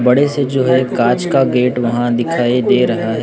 बड़े से जो है कांच का गेट वहां दिखाई दे रहा--